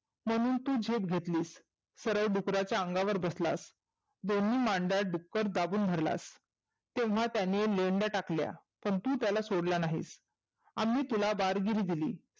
म्हणून तु झेप घेतलीस. सरळ डुकराच्या अंगावर बसलास दोन्ही मांड्यात डुक्कर दाबून धरलास. तेव्हाच त्यानी लेंड्या टाकल्या, पण तु त्याला सोडलं नाहीस. आम्ही तुला वारगिरी दिली.